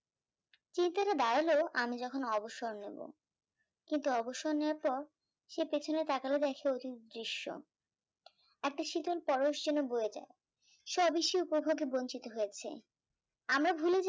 এটা দাঁড়ালো আমি যখন অবসর নেব, কিন্ত অবসর নেওয়ার পর সে পেছনে তাকালো দেখে অতীত দৃশ্য, একটা শীতল পরশ যেন বয়ে যায়, সে অবশ্যই উপভোগে বঞ্চিত হয়েছে, আমরা ভুলে যাই এ জীবন